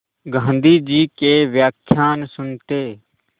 गाँधी जी के व्याख्यान सुनते